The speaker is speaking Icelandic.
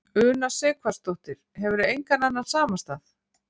Una Sighvatsdóttir: Hefurðu engan annan samastað?